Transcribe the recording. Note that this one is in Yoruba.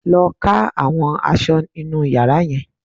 Lọ ká àwọn aṣọ inú yàrá yẹn